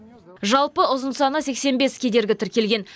жалпы ұзын саны сексен бес кедергі тіркелген